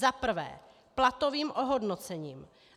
Za prvé platovým ohodnocením.